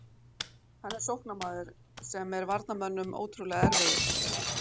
Hann er sóknarmaður sem er varnarmönnum ótrúlega erfiður.